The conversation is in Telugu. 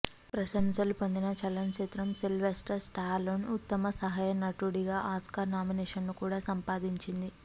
ప్రశంసలు పొందిన చలన చిత్రం సిల్వెస్టర్ స్టాలోన్ ఉత్తమ సహాయ నటుడిగా ఆస్కార్ నామినేషన్ను కూడా సంపాదించింది